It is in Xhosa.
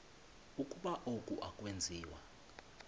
ukuba oku akwenziwa